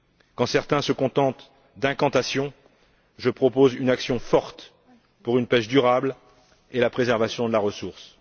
Quand certains se contentent d'incantations, je propose une action forte pour une pêche durable et pour la préservation de la ressource.